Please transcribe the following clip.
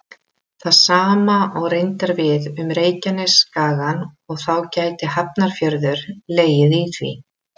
Það sama á reyndar við um Reykjanesskagann og þá gæti Hafnarfjörður legið í því.